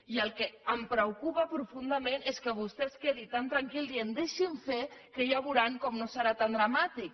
i el que em preocupa profundament és que vostè es quedi tan tranquil dient deixin fer que ja veuran com no serà tan dramàtic